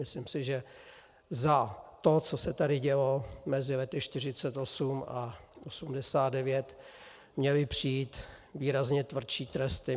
Myslím si, že za to, co se tady dělo mezi lety 1948 a 1989, měly přijít výrazně tvrdší tresty.